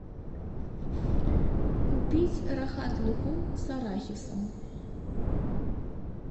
купить рахат лукум с арахисом